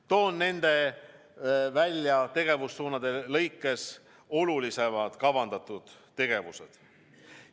Toon välja nende tegevussuundade lõikes olulisemad kavandatud tegevused.